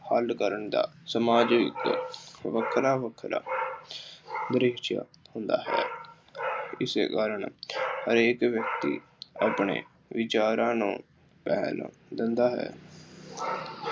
ਹੱਲ ਕਰਨ ਦਾ ਸਮਾਜ ਵਿੱਚ ਵੱਖਰਾ ਵੱਖਰਾ ਦ੍ਰਿਸ਼ ਹੁੰਦਾ ਹੈ। ਇਸੇ ਕਾਰਨ ਹਰੇਕ ਵਿਅਕਤੀ ਆਪਣੇ ਵਿਚਾਰਾਂ ਨੂੰ ਰਹਿਣ ਦਿੰਦਾ ਹੈ।